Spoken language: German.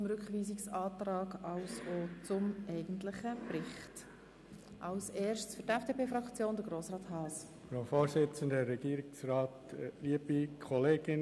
Nun haben die Fraktionen das Wort, zuerst Grossrat Haas für die FDP-Fraktion.